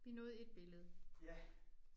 Vi nåede ét billede